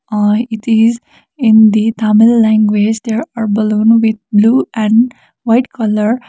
or it is in the tamil language there are balloon with blue and white colour.